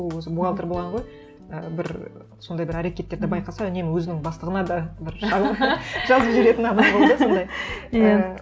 ол өзі бухгалтер болған ғой і бір сондай бір әрекеттерді байқаса үнемі өзінің бастығына да бір жалоба жазып жіберетін адам болды сондай иә